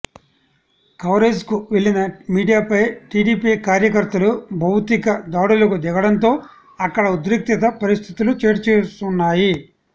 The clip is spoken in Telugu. కవరేజ్కు వెళ్లిన మీడియాపై టీడీపీ కార్యకర్తలు భౌతిక దాడులకు దిగడంతో అక్కడ ఉద్రిక్తత పరిస్థితులు చోటుచేసుకున్నాయి